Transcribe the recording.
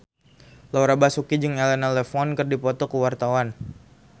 Laura Basuki jeung Elena Levon keur dipoto ku wartawan